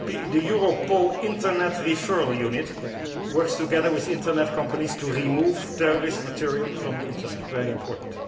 The Europol Internet Referral Unit works together with internet companies to remove terrorist material from the internet, very important.